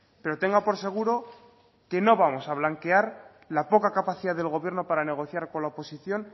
pero tenga por seguro que no vamos a blanquear la poca capacidad del gobierno para negociar con la oposición